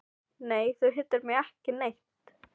Nei, þú hittir mig ekki neitt.